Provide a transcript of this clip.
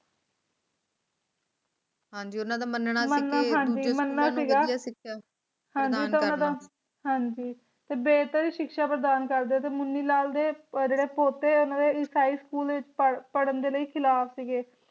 ਹਾਂਜੀ ਉਨ੍ਹਾਂ ਦਾ ਮੰਨਣਾ ਸੀਗਾ ਹਾਂ ਜੀ ਤੇ ਬੇਹਤਰ ਹੀ ਸ਼ਿਕ੍ਸ਼ਾ ਪ੍ਰਦਾਨ ਕਰਦੇ ਤੇ ਮੁਨੀਲਾਲ ਦੇ ਜਿਹੜੇ ਪੋਤੇ ਓਹਨਾ ਦੇ ਈਸਾਈ school ਵਿਚ ਪੜ੍ਹ ਪੜ੍ਹਨ ਦੇ ਲਈ ਖਿਲਾਫ ਸੀ ਗੇ